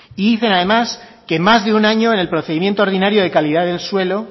y dicen además que más de un año en el procedimiento ordinario de calidad del suelo